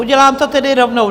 Udělám to tedy rovnou.